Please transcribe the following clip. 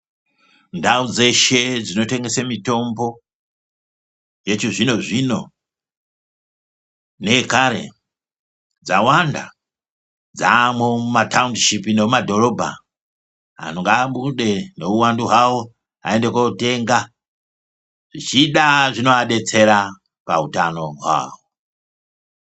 Ndau dzeshe dzinotengese mitombo yechi zvino zvino neyekare dzawanda, dzaamwo muma taundishipi nemumadhorobha antu ngaabude ngehuhwandu hwavo vaende kotenga zvichida zvinoadetsera pautano hwavo.